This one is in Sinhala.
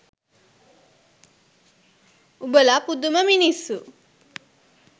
උඹල පුදුම මිනිස්සු